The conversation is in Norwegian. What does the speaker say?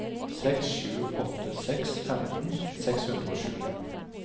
seks sju åtte seks femten seks hundre og sju